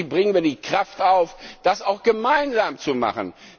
Hoffentlich bringen wir die Kraft auf, das auch gemeinsam zu machen.